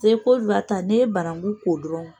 piseke kɔriwari ta n'i banankun ko dɔrɔnw